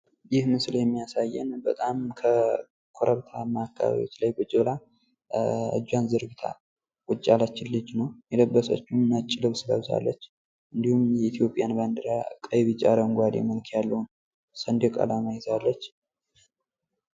ይህ ምስል የሚያሳየው በጣም ከኮረብታማ አካባቢዎች ላይ እጇን ዘርግታ ቁጭ ያለችን ልጅ ነው። ነጭ ልብስ ለብሳለጭ፣ የኢትዮጵያን ሰንደቅ አላማ አረንጓዴ ፣ቢጫ ፣ ቀይ ቀለም ያለው ባንዲራ ይዛለች ።